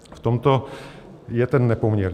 V tomto je ten nepoměr.